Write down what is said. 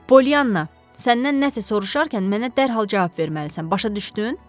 Polyanna, səndən nəsə soruşarkən mənə dərhal cavab verməlisən, başa düşdün?